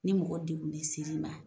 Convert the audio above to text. Ni mɔgɔ degunnen sir'i ma